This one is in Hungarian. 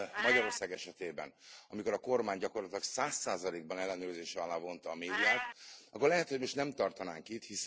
Magyarország esetében amikor a kormány gyakorlatilag 100 ban ellenőrzése alá vonta a médiát akkor lehet, hogy most nem tartanánk itt.